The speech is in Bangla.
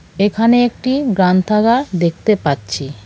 এখানে একটি গ্রান্থাগার দেখতে পাচ্ছি .